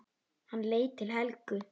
Hann leit til Helgu.